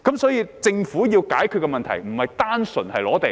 所以，政府要解決的問題不單純是收地。